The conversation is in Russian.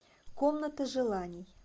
комната желаний